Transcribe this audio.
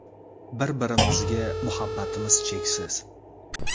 Bir-birimizga muhabbatimiz cheksiz.